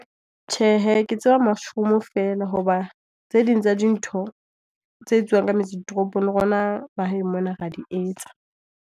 Tjhe he, ke tseba mushroom fela hoba tse ding tsa dintho tse etsuwang ka metse ditoropong le rona mahaeng mona re a di etsa.